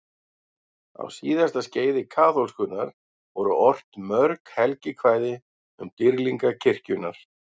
Á síðasta skeiði kaþólskunnar voru ort mörg helgikvæði um dýrlinga kirkjunnar.